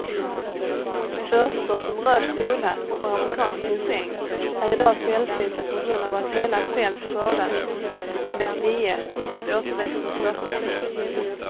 Örter som röd solhatt och amerikansk ginseng är i dag sällsynta på grund av att hela fält skördats med lie så att återväxten stoppas.